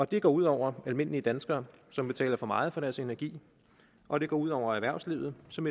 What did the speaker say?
det går ud over almindelige danskere som betaler for meget for deres energi og det går ud over erhvervslivet som